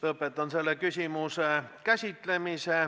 Lõpetan selle küsimuse käsitlemise.